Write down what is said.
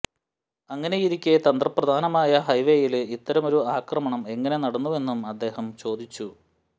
അങ്ങനെയിരിക്കെ തന്ത്രപ്രധാനമായ ഹൈവേയില് ഇത്തരമൊരു ആക്രമണം എങ്ങനെ നടന്നുവെന്നും അദ്ദേഹം ചോദിച്ചു